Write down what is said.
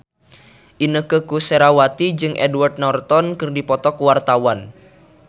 Inneke Koesherawati jeung Edward Norton keur dipoto ku wartawan